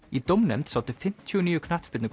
í dómnefnd sátu fimmtíu og níu